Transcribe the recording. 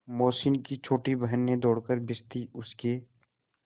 मोहसिन की छोटी बहन ने दौड़कर भिश्ती उसके